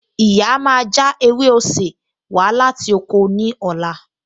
Ìyá máa já ewé osè wá láti oko ní ọ̀la